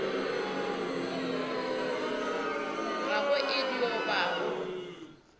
gago e dio ba go